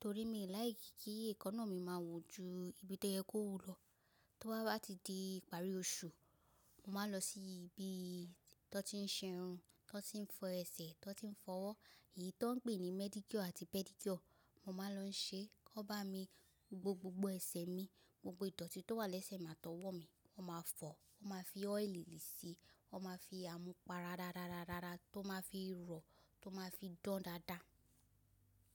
torí mi ò like kí èkáná mi máa wú ju ibi tó yẹ kó wú lọ. To bá ti di ìparí oṣù, mo máa lọ sí ibi tó ti ń ṣe irun, tó ti ń fọ ẹsẹ̀, tó ti ń fọwọ́, èyí tó ń pè ní manicure àti pedicure, mo máa lọ ṣe. Wọ́n bá mi gbo gbogbo ẹsẹ̀ mi, gbogbo ìdọ́tí tó wà lẹ́sẹ̀ mi a tọwọ́ mi, wọ́n máa fọ̀, wọ́n máa fi oil sí i, wọ́n máa fi amupara rárárára tó máa fi rọ̀, tó máa fi dán dáadáa.